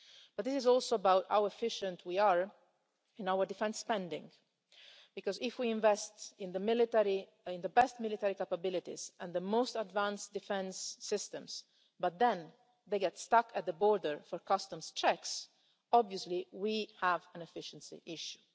But this is also about how efficient we are in our defence spending, because if we invest in the best military capabilities and the most advanced defence systems, but then they get stuck at the border for customs checks, obviously we have an efficiency issue.